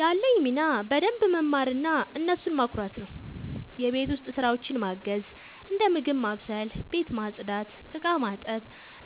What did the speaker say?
ያለኝ ሚና በደንብ መማርና እነሱን ማኩራት ነው። የቤት ውስጥ ስራዎችን ማገዝ፦ እንደ ምግብ ማብሰል፣ ቤት ማጽዳት፣ ዕቃ ማጠብ